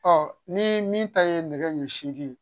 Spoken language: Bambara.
ni min ta ye nɛgɛ ɲɛ segin